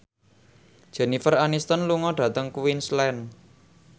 Jennifer Aniston lunga dhateng Queensland